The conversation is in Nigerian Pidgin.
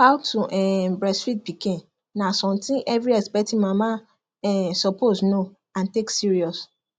how to um breastfeed pikin na something every expecting mama um suppose know and take serious